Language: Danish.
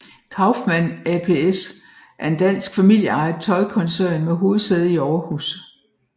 Kaufmann APS er en dansk familieejet tøjkoncern med hovedsæde i Aarhus